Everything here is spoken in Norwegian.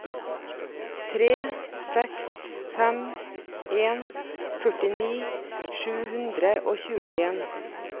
tre seks fem en førtini sju hundre og tjueen